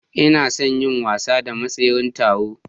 Ina son yin wasa da mai tseren taron.